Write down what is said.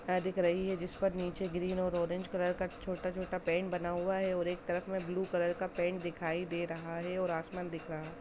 है दिख रही हैं जिस पर नीचे हरा और नारंगी रंग का छोटा-छोटा पेंट बना हुआ हैं और एक तरफ में ब्लू कलर का पेंट दिख रहा हैं और आसमान दिख रहा।